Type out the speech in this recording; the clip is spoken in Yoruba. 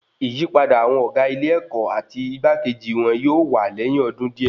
Ìyípadà àwọn ọgá ilé-èkó àti igbakeji wọn yóò wà lẹyìn ọdún díẹ̀